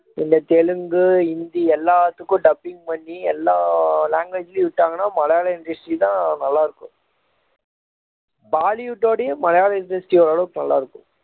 இந்த தெலுங்கு ஹிந்தி எல்லாத்துக்கும் dubbing பண்ணி எல்லா language லையும் விட்டாங்கன்னா மலையாள industry தான் நல்லா இருக்கும் பாலிவுட்டோடையும் மலையாள industry ஓரளவுக்கு நல்லா இருக்கும்